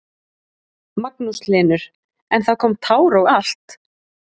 Magnús Hlynur: En það kom tár og allt?